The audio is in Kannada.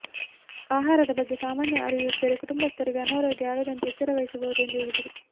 ಆಹಾರದ ಬಗ್ಗೆ ಸಾಮಾನ್ಯ ಅರಿವು ಇದ್ದರೆ ಕುಟುಂಬಸ್ಥರಿಗೆ ಅನಾರೋಗ್ಯ ಆಗದಂತೆ ಎಚ್ಚರವಹಿಸಬಹುದು ಎಂದು ಹೇಳಿದರು